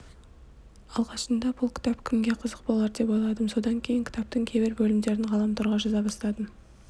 алғашында бұл кітап кімге қызық болар деп ойладым содан кейін кітаптың кейбір бөлімдерін ғаламторға жаза бастадым